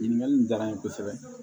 Ɲininkali diyara n ye kosɛbɛ